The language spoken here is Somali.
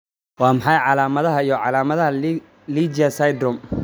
Waa maxay calaamadaha iyo calaamadaha Legius syndrome?